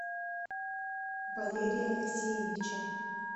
валерия алексеевича